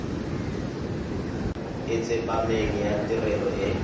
e tsepameng ya tirelo e